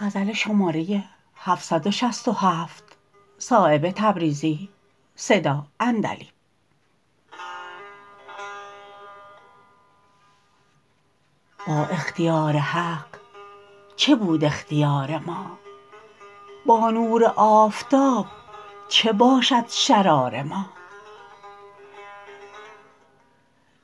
با اختیار حق چه بود اختیار ما با نور آفتاب چه باشد شرار ما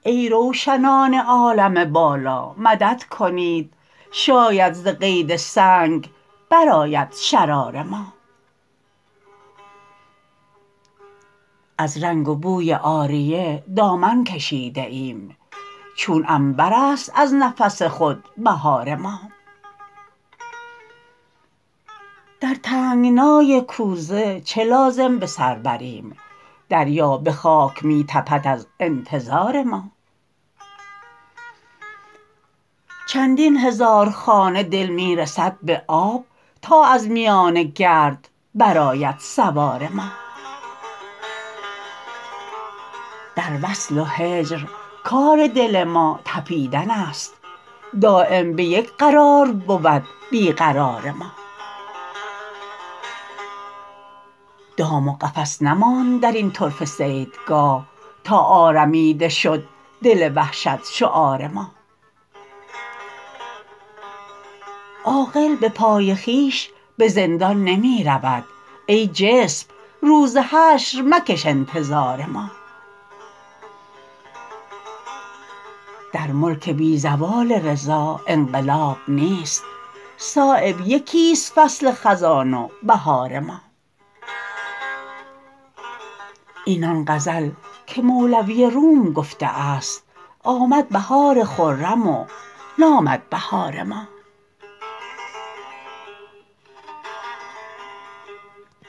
ای روشنان عالم بالا مدد کنید شاید ز قید سنگ برآید شرار ما از رنگ و بوی عاریه دامن کشیده ایم چون عنبرست از نفس خود بهار ما در تنگنای کوزه چه لازم بسر بریم دریا به خاک می تپد از انتظار ما چندین هزار خانه دل می رسد به آب تا از میان گرد برآید سوار ما در وصل و هجر کار دل ما تپیدن است دایم به یک قرار بود بی قرار ما دام و قفس نماند درین طرفه صیدگاه تا آرمیده شد دل وحشت شعار ما عاقل به پای خویش به زندان نمی رود ای جسم روز حشر مکش انتظار ما در ملک بی زوال رضا انقلاب نیست صایب یکی است فصل خزان و بهار ما این آن غزل که مولوی روم گفته است آمد بهار خرم و نامد بهار ما